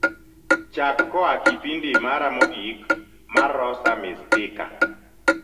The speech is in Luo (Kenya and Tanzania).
chak koa kipindi mara mogik mar rosa mistika